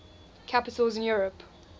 capitals in europe